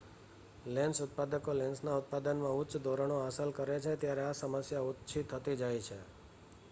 lens ઉત્પાદકો લેન્સના ઉત્પાદનમાં ઉચ્ચ ધોરણો હાંસલ કરે છે ત્યારે આ સમસ્યા ઓછી થતી જાય છે